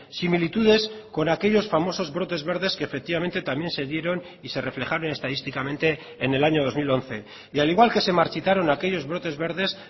similitudes con aquellos famosos brotes verdes que efectivamente también se dieron y se reflejaron estadísticamente en el año dos mil once y al igual que se marchitaron aquellos brotes verdes